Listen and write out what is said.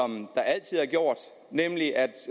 det er